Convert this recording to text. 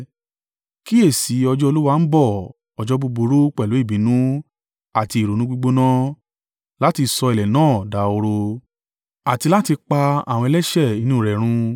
Kíyèsi i, ọjọ́ Olúwa ń bọ̀ ọjọ́ búburú, pẹ̀lú ìbínú àti ìrunú gbígbóná— láti sọ ilẹ̀ náà dahoro, àti láti pa àwọn ẹlẹ́ṣẹ̀ inú rẹ̀ run.